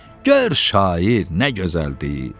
Gəl şair, nə gözəldir.